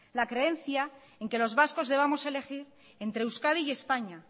la creencia en que los vascos debamos elegir entre euskadi y españa